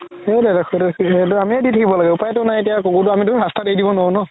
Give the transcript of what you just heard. সেইটো আমিয়ে দি থাকিব লাগিব উপাইতো নাই এতিয়া কুকুৰতো আমি এতিয়া ৰাস্তাত এৰি দিব নোৱাৰো ন